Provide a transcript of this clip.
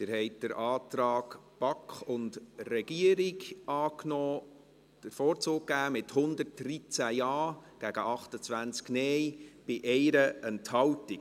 Sie haben den Antrag BaK und Regierung angenommen, beziehungsweise diesem den Vorzug geben, mit 113 Ja- gegen 28 Nein-Stimmen bei 1 Enthaltung.